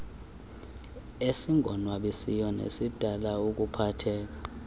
esingonwabisiyo nesidala ukuphatheka